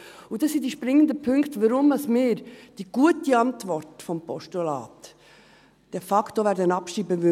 Und das sind die springenden Punkte, warum wir die gute Antwort des Postulats de facto abschreiben werden: